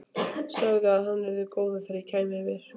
Sagði að hann yrði orðinn góður þegar ég kæmi yfir.